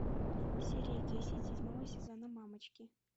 серия десять седьмого сезона мамочки